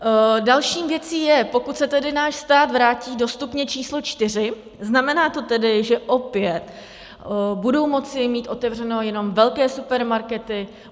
Další věcí je, pokud se tedy náš stát vrátí do stupně číslo čtyři, znamená to tedy, že opět budou moci mít otevřeno jenom velké supermarkety?